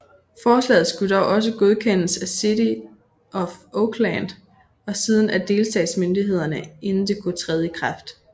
Forslaget skulle dog også godkendes af City of Oakland og siden af delstatsmyndighederne inden det kunne træde i kraft